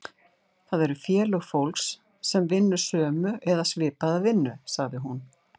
Það eru félög fólks sem vinnur sömu eða svipaða vinnu, sagði hún.